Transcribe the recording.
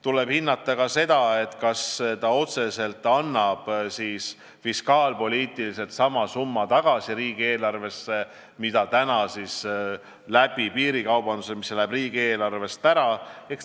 Tuleb hinnata ka seda, kas see annab fiskaalpoliitiliselt riigieelarvesse tagasi otseselt sama summa, mis piirikaubanduse tõttu riigieelarvest ära läheb.